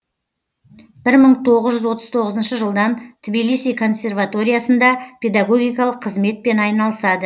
бір мың тоғыз жүз отыз тоғызыншы жылдан тблиси консерваториясында педогогикалық қызметпен айналысады